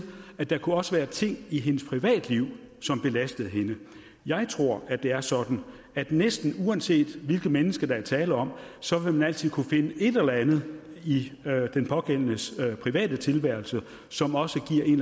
at der også kunne være ting i hendes privatliv som belastede hende jeg tror det er sådan at næsten uanset hvilket menneske der er tale om så vil man altid kunne finde et eller andet i den pågældendes private tilværelse som også giver en